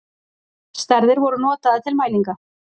stærðir voru notaðar til mælinga